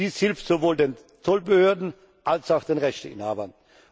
Dies hilft sowohl den Zollbehörden als auch den Rechteinhabern.